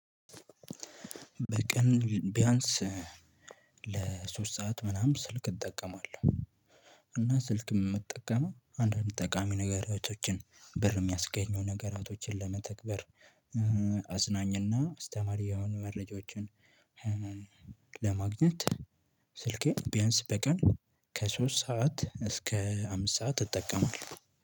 በቀን ቢያንስ ለሶስት ሰዓት ምናምን ስልክ እጠቀማለሁ። እና ስልክ ምጠቀመው አንዳንድ ጠቃሚ ነገራቶችን ብር የሚያስገኘው ነገራቶችን ለመተግበር። አዝናኝና አስተማሪ የሆኑ መረጃዎችን። ለማግኘት ስልኬን ቢያንስ በቀን ከሶስት ሰዓት እስከ አምስት ሰዓት እጠቀማለሁ